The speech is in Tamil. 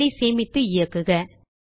பைல் ஐ சேமித்து இயக்குக